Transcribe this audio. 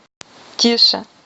тише